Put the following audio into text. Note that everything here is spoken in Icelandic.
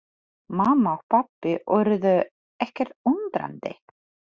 Mamma og pabbi urðu ekkert undrandi.